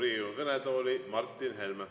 Palun Riigikogu kõnetooli Martin Helme.